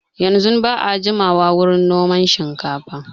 Yanzun ba a jimawa wurin noman shinkafa